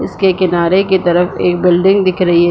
इसके किनारे की तरफ एक बिल्डिंग दिख रही है।